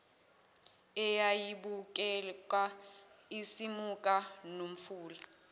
eyayibukeka isimuka nomfula